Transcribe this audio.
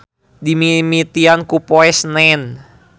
Dimimitian ku Poe Senen.